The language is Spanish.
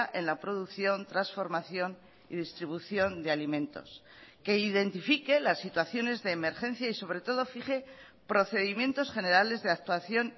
en la producción transformación y distribución de alimentos que identifique las situaciones de emergencia y sobre todo fije procedimientos generales de actuación